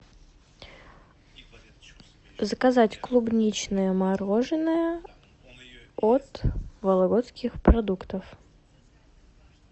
заказать клубничное мороженое от вологодских продуктов